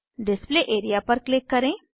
display area पर click करें